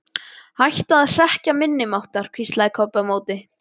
Hætta að hrekkja minni máttar, hvíslaði Kobbi á móti.